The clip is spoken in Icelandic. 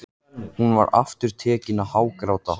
Hún var aftur tekin að hágráta.